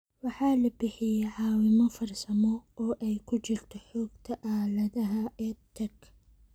Waxaa la bixiyay caawimo farsamo, oo ay ku jirto Xogta Aaladaha EdTech